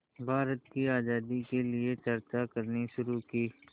भारत की आज़ादी के लिए चर्चा करनी शुरू की